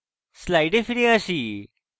slides ফিরে আসি